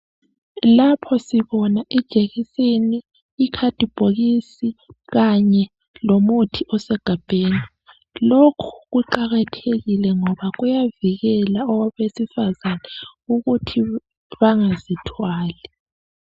Lapho sibona ijekiseni , ikhadibhokisi kanye lomuthi osegabheni. Lokhu kuqakathekile ngoba kuyavikela abesifazana ukuthi bangazithwali.